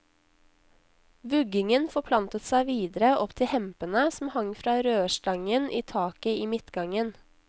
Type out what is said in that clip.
Vuggingen forplantet seg videre opp til hempene som hang fra rørstangen i taket i midtgangen.